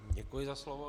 Děkuji za slovo.